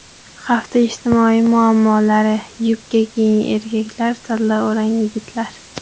Hafta ijtimoiy muammolari: Yubka kiying erkaklar, salla o‘rang yigitlar.